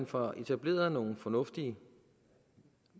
får etableret nogle fornuftige